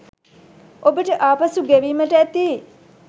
ඔබට ආපසු ගෙවීමට ඇති